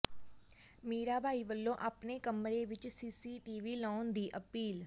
ਮੀਰਾਬਾਈ ਵੱਲੋਂ ਆਪਣੇ ਕਮਰੇ ਵਿੱਚ ਸੀਸੀਟੀਵੀ ਲਾਉਣ ਦੀ ਅਪੀਲ